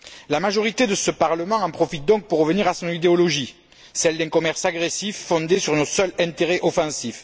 La majorité de ce Parlement en profite donc pour revenir à son idéologie, celle d'un commerce agressif, fondé sur un seul intérêt offensif.